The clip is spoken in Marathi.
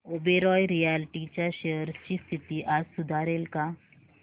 ओबेरॉय रियाल्टी च्या शेअर्स ची स्थिती आज सुधारेल का